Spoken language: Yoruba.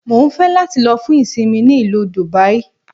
Mo ń fẹ́ láti lọ fún ìsinmi ní ìlú Dùbàí